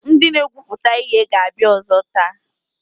Ndị na-egwupụta ihe ga-abịa ọzọ taa.